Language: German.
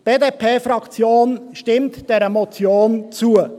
Die BDP-Fraktion stimmt dieser Motion zu.